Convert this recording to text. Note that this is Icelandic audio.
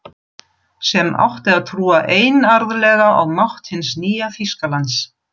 Sem átti að trúa einarðlega á mátt hins nýja Þýskalands.